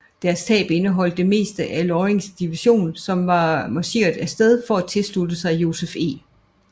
Deres tab indeholdt det meste af Lorings division som var marcheret af sted for at tilslutte sig Joseph E